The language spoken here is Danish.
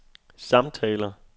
samtaler